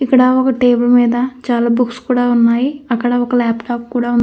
ఇక్కడ ఒక టేబుల్ మీద చాలా బుక్స్ కూడా ఉన్నాయి. లాప్టాప్ కూడా ఉంది.